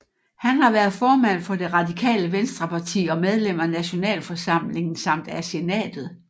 Han har været formand for det radikale venstreparti og medlem af Nationalforsamlingen samt af Senatet